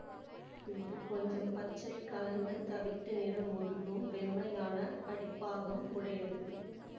இது கொஞ்சம் பச்சை கலந்த தவிட்டு நிற முதுகும் வெண்மையான அடிப்பாகம் உடையது